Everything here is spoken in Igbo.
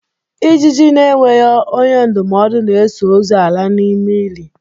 Ijiji na-enweghi onye ndụmọdụ na-eso ozu ala n'ime ili!